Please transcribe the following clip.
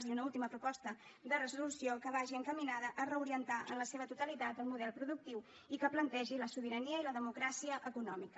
i una última proposta de resolució que vagi encaminada a reorientar en la seva totalitat el model productiu i que plantegi la sobirania i la democràcia econòmica